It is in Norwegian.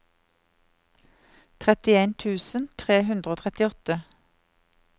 trettien tusen tre hundre og trettiåtte